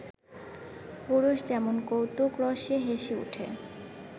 পুরুষ যেমন কৌতুকরসে হেসে ওঠে